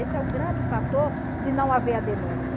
Esse é o grande fator de não haver a denúncia.